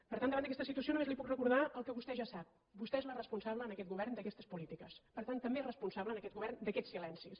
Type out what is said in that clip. per tant davant d’aquesta situació només li puc recordar el que vostè ja sap vostè és la responsable en aquest govern d’aquestes polítiques per tant també és responsable en aquest govern d’aquests silencis